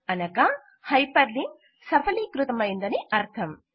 అనగా hyperlink సఫలీకృతమయిందని అర్థం